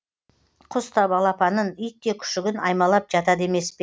құс та балапанын ит те күшігін аймалап жатады емес пе